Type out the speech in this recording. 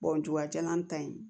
n ta in